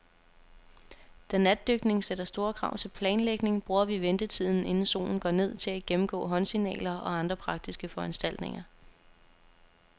Da natdykning sætter store krav til planlægning, bruger vi ventetiden, inden solen går ned, til at gennemgå håndsignaler og andre praktiske foranstaltninger.